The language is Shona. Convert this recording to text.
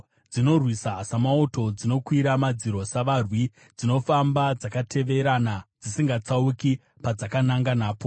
Dzinorwisa samauto; dzinokwira madziro savarwi. Dzinofamba dzakateverana dzisingatsauki padzakananga napo.